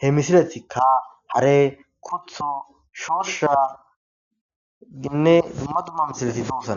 he misiletikka hare kutho shooshaginne dumma dumma misileti duussana